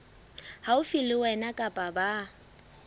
haufi le wena kapa ba